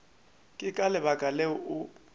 ke ka lebaka leo o